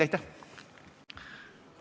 Aitäh!